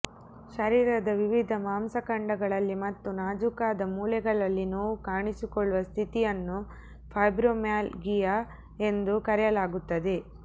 ಶರೀರದ ವಿವಿಧ ಮಾಂಸಖಂಡಗಳಲ್ಲಿ ಮತ್ತು ನಾಜೂಕಾದ ಮೂಳೆಗಳಲ್ಲಿ ನೋವು ಕಾಣಿಸಿಕೊಳ್ಳುವ ಸ್ಥಿತಿಯನ್ನು ಫೈಬ್ರೊಮ್ಯಾಲ್ಗಿಯಾ ಎಂದು ಕರೆಯಲಾಗುತ್ತದೆ